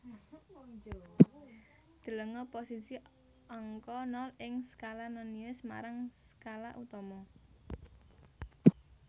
Delenga posisi angka nol ing skala nonius marang skala utama